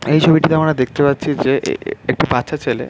এই ছবিটিতে আমরা দেখতে পাচ্ছি যে এ এ একটি বাচ্চা ছেলে --